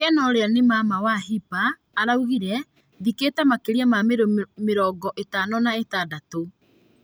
Kena urĩa ni mama wa hirpa araugire , "thikite makĩria ma mĩĩri mĩrongo itano kana ĩtandatũ"